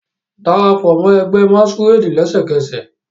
Darapọ mọ ẹgbẹ masquerade lẹsẹkẹsẹ